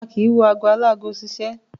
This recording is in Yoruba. A kì í wo ago aláago ṣiṣẹ́.